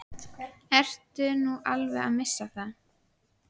Ertu nú alveg að missa það?